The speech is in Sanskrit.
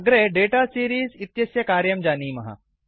अग्रे दाता सीरीज़ इत्यस्य कार्यं जानीमः